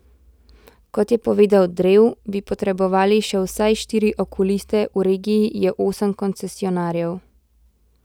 Kot je povedal Drev, bi potrebovali še vsaj štiri okuliste, v regiji je osem koncesionarjev.